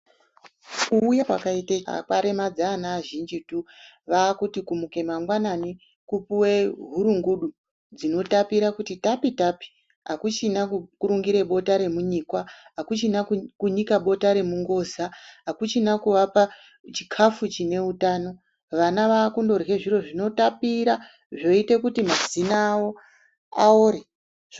Kuuya kwakaita chiyungu kwaremadza ana azhinji tu. Vaakuti kumuke mangwanani kupuwe hurungudu dzinotapira kuti tapi-tapi. Akuchina kukurungire bota remunyikwa. Akuchina kunyika bota remungoza. Hakuchina kuvapa chikafu chine utano. Vana vaakundorye zviro zvinotapira, zvoite kuti mazino awo aore.